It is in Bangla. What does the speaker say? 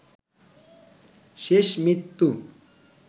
শেষ মৃত্যু